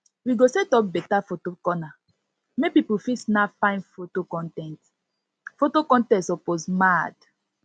we go set up beta photo corner make pipo fit snap fine foto con ten t foto con ten t suppose mad